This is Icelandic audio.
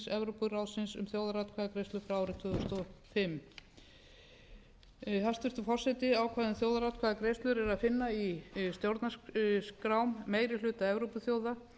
evrópuráðsins um þjóðaratkvæðagreiðslu frá árinu tvö þúsund og fimm hæstvirtur forseti ákvæði um þjóðaratkvæðagreiðslur er að finna í stjórnarskrám meiri hluta evrópuþjóða